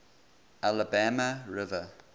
alabama river